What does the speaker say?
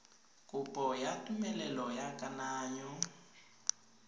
kopo ya tumelelo ya kananyo